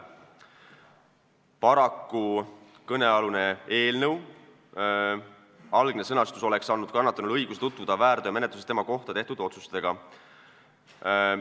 Paraku oleks kõnealuse eelnõu algne sõnastus andnud kannatanule õiguse tutvuda väärteomenetluses tema kohta tehtud otsustega.